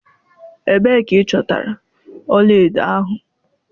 Ebee ka ịchọtara ọla edo ahụ?